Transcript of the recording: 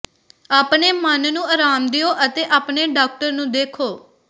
ਆਪਣੇ ਮਨ ਨੂੰ ਆਰਾਮ ਦਿਓ ਅਤੇ ਆਪਣੇ ਡਾਕਟਰ ਨੂੰ ਦੇਖੋ